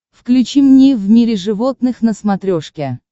включи мне в мире животных на смотрешке